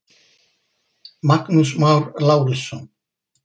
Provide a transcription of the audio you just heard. Magnús Már Lárusson.